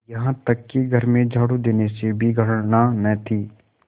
यहाँ तक कि घर में झाड़ू देने से भी घृणा न थी